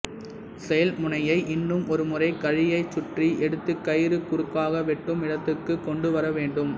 செயல்முனையை இன்னும் ஒருமுறை கழியைச் சுற்றி எடுத்துக் கயிறு குறுக்காக வெட்டும் இடத்துக்குக் கொண்டுவர வேண்டும்